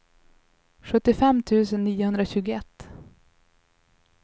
sjuttiofem tusen niohundratjugoett